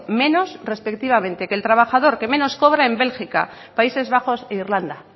menos respectivamente que el trabajador que menos cobra en bélgica países bajos e irlanda